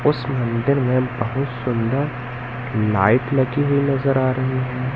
उस मंदिर मे बहुत सुंदर लाइट लगी हुई नज़र आ रही है।